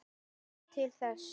Ber margt til þess.